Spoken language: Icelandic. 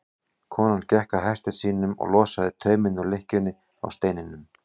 Hann gekk að hesti sínum og losaði tauminn úr lykkjunni á steininum.